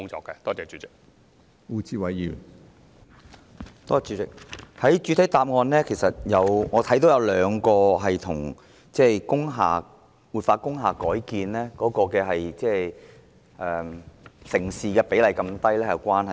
主席，在局長的主體答覆中，我看到有兩項因素是與活化及改建工廈的成事比率如此低有關的。